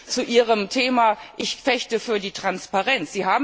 Soviel zu Ihrem Thema Ich fechte für die Transparenz.